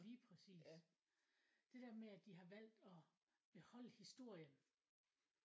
Lige præcis. Det der med at de har valgt at beholde historien